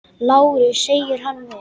LÁRUS: Segir hann mér!